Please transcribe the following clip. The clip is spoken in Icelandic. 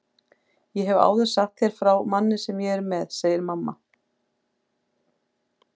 Ég hef áður sagt þér frá manni sem ég er með, segir mamma.